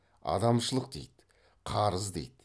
адамшылық дейді қарыз дейді